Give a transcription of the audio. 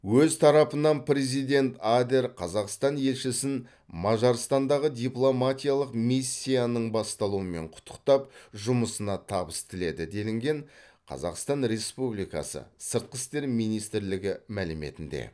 өз тарапынан президент адер қазақстан елшісін мажарстандағы дипломатиялық миссиясының басталуымен құттықтап жұмысына табыс тіледі делінген қазақтан республикасы сыртқы істер министрлігінің мәліметінде